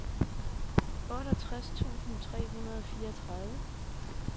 otteogtres tusind tre hundrede og fireogtredive